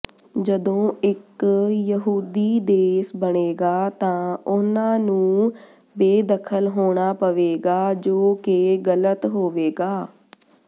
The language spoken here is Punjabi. ਜਦੋਂ ਇੱਕ ਯਹੂਦੀ ਦੇਸ ਬਣੇਗਾ ਤਾਂ ਉਨ੍ਹਾਂ ਨੂੰ ਬੇਦਖ਼ਲ ਹੋਣਾ ਪਵੇਗਾ ਜੋ ਕਿ ਗਲਤ ਹੋਵੇਗਾ